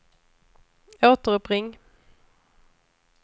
återuppring